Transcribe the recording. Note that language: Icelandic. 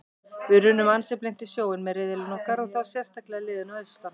Við runnum ansi blint í sjóinn með riðillinn okkar og þá sérstaklega liðin að austan.